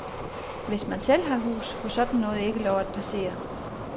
Hvis man selv har hus, får sådan noget ikke lov at passere.